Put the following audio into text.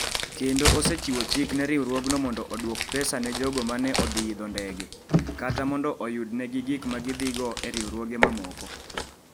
Kendo osechiwo chik ne riwruogno mondo odwoko pesa ne jogo ma ne odhi e ndege kata mondo oyudgi gik ma gidhigo e riwruoge mamoko.